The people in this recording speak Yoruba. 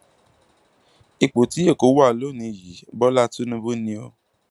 ipò tí èkó wà lọnìín yìí bọlá tínúbù ni o